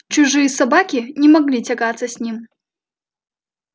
чужие собаки не могли тягаться с ним